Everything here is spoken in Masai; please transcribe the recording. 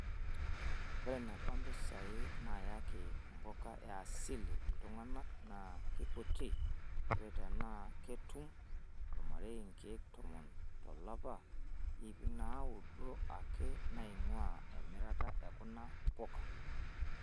Ore eneba mpisai naayaki mpuka e asili iltung'ana naa keikuti:ore tenaa ketum olmarei nkeek tomon tolapa, iip naaudo ake naing'uaa emirata e kuna puka.